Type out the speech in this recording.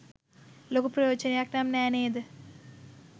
ලොකු ප්‍රයෝජනයක් නම් නෑ නේද?